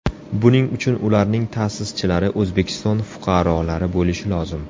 Buning uchun ularning ta’sischilari O‘zbekiston fuqarolari bo‘lishi lozim.